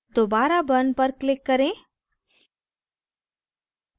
दोबारा burn पर click करें